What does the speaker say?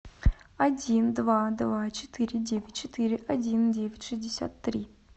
один два два четыре девять четыре один девять шестьдесят три